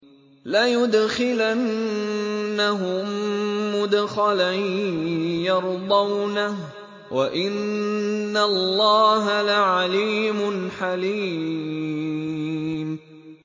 لَيُدْخِلَنَّهُم مُّدْخَلًا يَرْضَوْنَهُ ۗ وَإِنَّ اللَّهَ لَعَلِيمٌ حَلِيمٌ